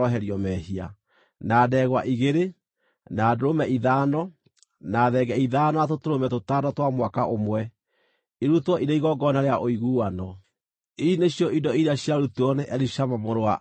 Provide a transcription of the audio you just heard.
na ndegwa igĩrĩ, na ndũrũme ithano, na thenge ithano, na tũtũrũme tũtano twa mwaka ũmwe, irutwo irĩ igongona rĩa ũiguano. Ici nĩcio indo iria ciarutirwo nĩ Elishama mũrũ wa Amihudu.